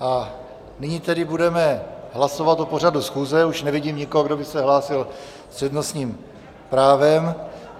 A nyní tedy budeme hlasovat o pořadu schůze, už nevidím nikoho, kdo by se hlásil s přednostním právem.